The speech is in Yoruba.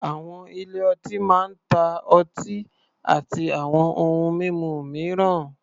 Àwọn ilé-ọtí máa ń ta ọtí àti àwọn ohun mímu mìíràn.